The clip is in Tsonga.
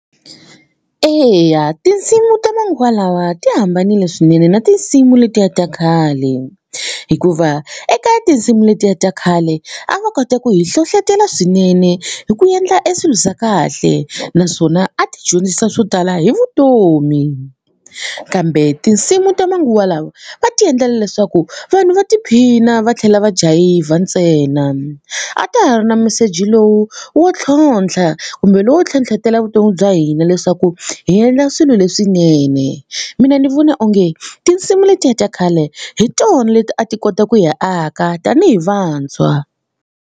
Eya tinsimu ta manguva lawa ti hambanile swinene na tinsimu letiya ta khale hikuva eka tinsimu letiya ta khale a va kota ku hi hlohlotelo swinene hi ku endla e swilo swa kahle naswona a ti dyondzisa swo tala hi vutomi kambe tinsimu ta manguva lwa va ti endlela leswaku vanhu va tiphina va tlhela va jayivha ntsena a ta ha ri na meseji lowu wo tlhontlha kumbe lowo ntlhontlhetela evuton'wini bya hina leswaku hi endla swilo leswinene mina ni vona onge tinsimu letiya ta khale hi tona leti a ti kota ku hi aka tanihi vantshwa.